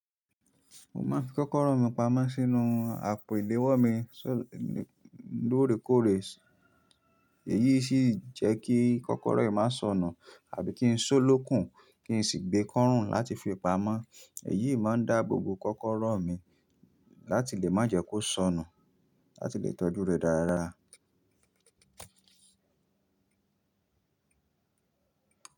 Mo máa ń fi kọ́kọ́rọ́ mi pamọ́ sínú àpò ìléwọ́ mi lóòrèkóòrè. Èyí sì jẹ́ kí kọ́kọ́rọ́ yìí má sọnù àbí kí n sólókùn, kí n sì gbé e kọ́rùn láti fi pamọ́. Èyí máa ń dá gbogbo kọ́kọ́rọ́ mi láti lè má jẹ́ kó sọnù, láti lè tọ́jú rẹ̀ dáradára.